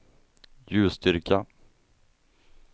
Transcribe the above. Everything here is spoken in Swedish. ljusstyrka